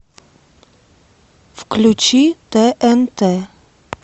включи тнт